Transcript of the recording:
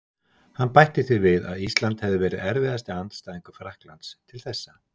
Hann bætti því við að Ísland hefði verið erfiðasti andstæðingur Frakklands til þessa.